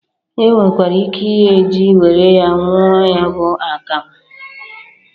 Enwekwara ike ighe ji were ya nwụọ ya bụ akamụ.